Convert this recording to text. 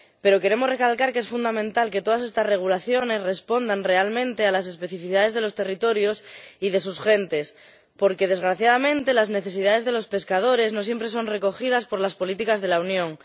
Pero queremos recalcar que es fundamental que todas estas regulaciones respondan realmente a las especificidades de los territorios y de sus gentes porque, desgraciadamente, las necesidades de los pescadores no siempre son recogidas por las políticas de la Unión.